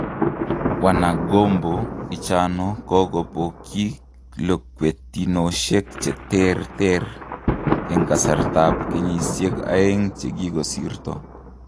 wanagombo ichano kokopoyiik lokwetinoshek che terter en kasarta ap kenyiseik aegn chekikosirto